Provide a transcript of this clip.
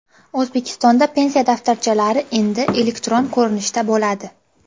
O‘zbekistonda pensiya daftarchalari endi elektron ko‘rinishda bo‘ladi.